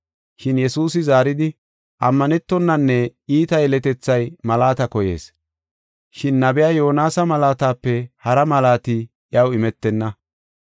Shin Yesuusi zaaridi, “Ammanetonanne iita yeletethay malaata koyees. Shin nabiya Yoonasa malaatape hara malaati iyaw imetenna.